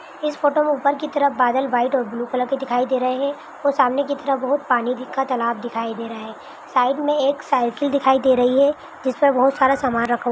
उपर की तरफ बादल व्हाइट और ब्लू कलर के दिखाई दे रहे है और सामने की तरफ बहोत पानी का एक तलब दिखाई दे रहा है साइड मे एक साइकिल दिखाई दे रही है जिसमे बहोत सारा सामन रखा--